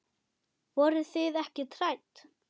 Voruð þið ekkert hrædd?